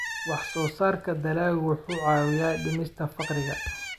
Wax-soo-saarka dalaggu wuxuu caawiyaa dhimista faqriga.